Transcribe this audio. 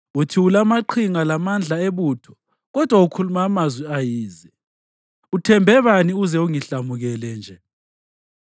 Uthi ulamaqhinga lamandla ebutho kodwa ukhuluma amazwi ayize. Uthembe bani uze ungihlamukele nje?